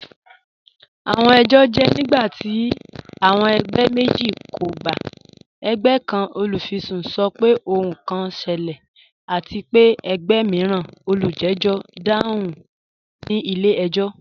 Awọn ẹjọ jẹ nigbati awọn ẹgbẹ meji kò gbà. Ẹ̀gbẹ̀ kan, olufisun, sọ̀ pẹ̀ ohun kan ṣẹlẹ̀, àti pe ẹ̀gbẹ̀ miiran, olùjẹ̀jọ̀, dáhùn ni ilẹ̀-ẹjọ̀."